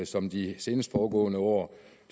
som de seneste foregående år